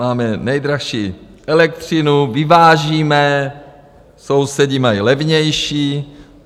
Máme nejdražší elektřinu, vyvážíme, sousedi mají levnější.